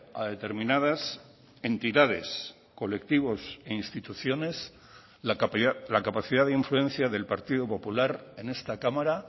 a determinadas entidades colectivos e instituciones la capacidad de influencia del partido popular en esta cámara